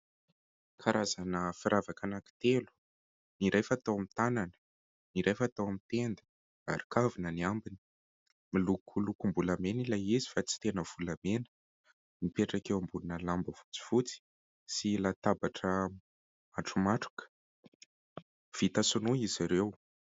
Karazana firavaka anankitelo. Ny iray fatao amin'ny tanana, ny iray fatao amin'ny tenda ary kavina ny ambiny. Miloko lokom-bolamena ilay izy fa tsy tena volamena. Mipetraka eo ambonina lamba fotsifotsy sy latabatra matromatroka ; vita sinoa izy ireo.